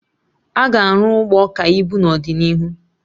Aga arụ Ụgbọ ka ibu n'ọdịnihu